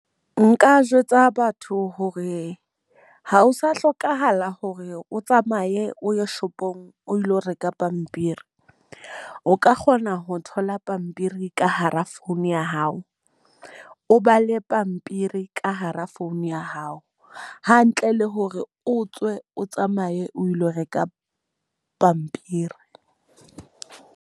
Nka jwetsa batho hore ha ho sa hlokahala hore o tsamaye o ye shopong o ilo reka pampiri. O ka kgona ho thola pampiri ka hara phone ya hao. O bale pampiri ka hara phone ya hao. Hantle le hore o tswe o tsamaye o ilo reka pampiri.